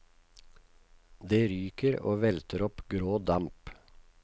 Det ryker og velter opp grå damp.